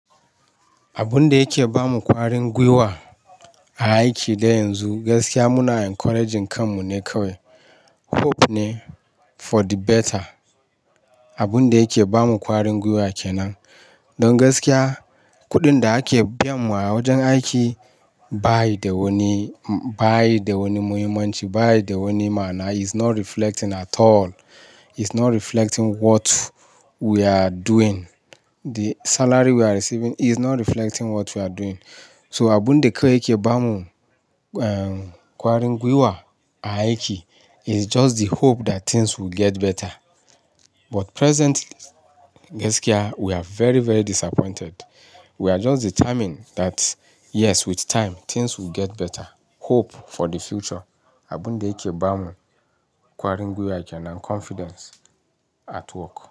Abun da yake ba mu kwarin gwiwa a aiki da yanzu gaskiya muna encouraging kan mu ne kawai. Hope ne for the better. Abun da yake ba mu kwarin gwiwa kenan. Don gaskiya kuɗin da ake biyan mu a wajen aiki ba yi da wani, ba yi da wani muhimmanci, ba yi da wani ma'ana. Is not reflecting at all. Is not reflecting what we are doing. The salary we are receiving is not reflecting what we are doing. So abun da kawai yake ba mu, ehm, kwarin gwiwa a aiki is just the hope that things will get better. But presently gaskiya we are very, very disappointed. We are just determined that yes with time things will get better. Hope for the future. Abun da yake ba mu kwarin gwiwa kenan confidence at work.